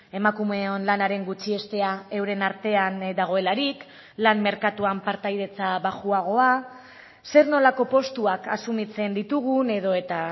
emakumeon lanaren gutxiestea euren artean dagoelarik lan merkatuan partaidetza baxuagoa zer nolako postuak asumitzen ditugun edo eta